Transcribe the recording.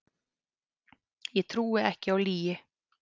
Ég trúi ekki á lygi